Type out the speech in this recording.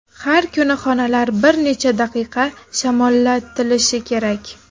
Har kuni xonalar bir necha daqiqa shamollatilishi kerak.